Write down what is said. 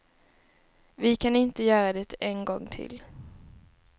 Vi kan inte göra det en gång till.